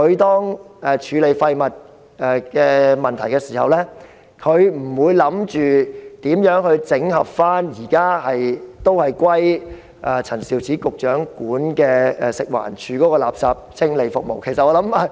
當處理廢物的問題時，環境局不會思考如何整合陳肇始局長轄下的食物環境衞生署的垃圾清理服務。